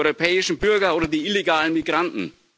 Die europäischen Bürger oder die illegalen Migranten?